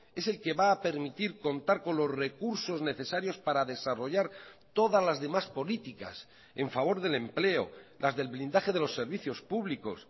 es el que va a permitir contar con los recursos necesarios para desarrollar todas las demás políticas en favor del empleo las del blindaje de los servicios públicos